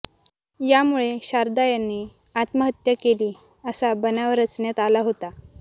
यामुळे शारदा यांनी आत्महत्या केली असा बनाव रचण्यात आला होता